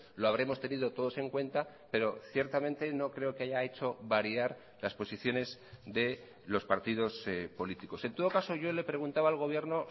lo habremos tenido todos en cuenta pero ciertamente no creo que haya hecho variar las posiciones de los partidos políticos en todo caso yo le preguntaba al gobierno